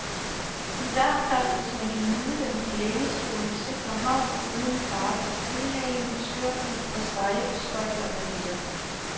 I hvert fald hvis man kan nyde dem i lænestolens sikre havn uden fare for kølhaling, skørbug og seje beskøjter med mere.